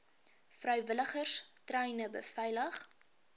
vrywilligers treine beveilig